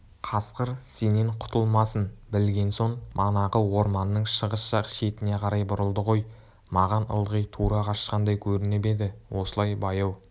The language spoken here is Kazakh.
қасқыр сенен құтылмасын білген соң манағы орманның шығыс жақ шетіне қарай бұрылды ғой маған ылғи тура қашқандай көрініп еді осылай баяу